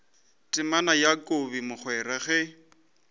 temana ya kobi mogwera ge